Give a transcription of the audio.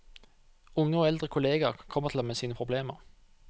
Unge og eldre kolleger kommer til ham med sine problemer.